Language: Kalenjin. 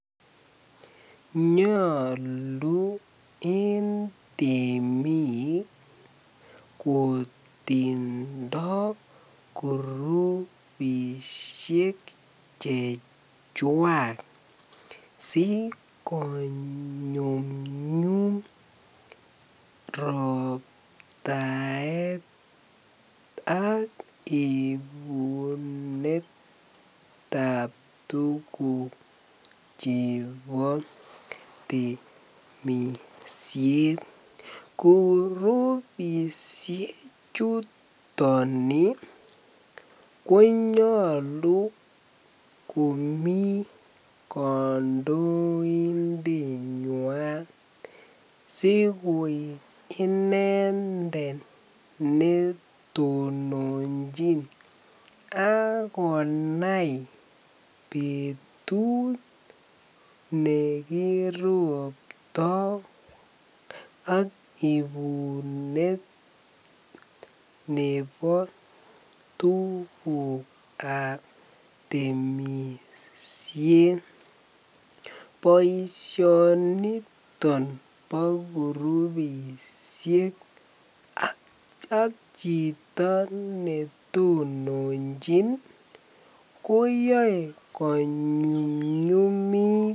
Nyolu en temik kotindo korubishek chechwak sikonyumnyum robtaet ak ibunetab tukuk chebo temishet, kurubishe chuton konyolu komii kondoindenywan sikoik inendet netononchin ak konai betut nekirobto ak ibunet nebo tukukab temishet, boishoniton bo kurubishek ak chito netononchin koyoe konyumnyumit.